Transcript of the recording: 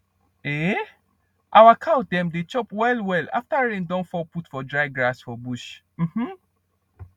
um our cow dem dey chop well well afta rain don fall put for dry grass for bush um